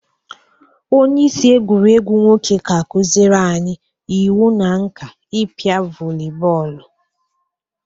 Onyeisi egwuregwu nwoke ga-akụzịrị anyị iwu na nka ịpịa vọli bọọlụ